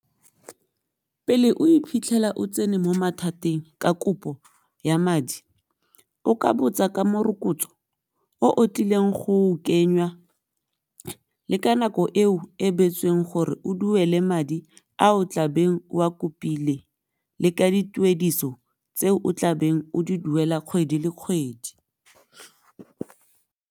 Pele o iphitlhela o tsene mo mathateng ka kopo ya madi o ka botsa ka morokotso o o tlileng go kenywa le ka nako eo e beetsweng gore o duele madi a o tlabeng o a kopile le ka dituediso tse o tlabeng o di duela kgwedi le kgwedi.